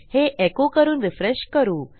हे एको करून रिफ्रेश करू